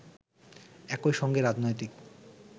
একই সঙ্গে রাজনৈতিক